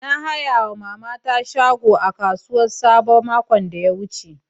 Na haya ma mama ta shago a kasuwan sabo makon da ta wuce